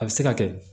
A bɛ se ka kɛ